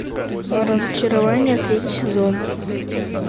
разочарование третий сезон